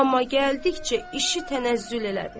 Amma gəldikcə işi tənəzzül elədi.